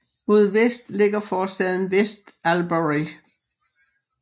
Mod vest ligger forstaden West Albury